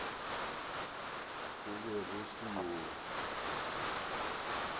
go be go se yoo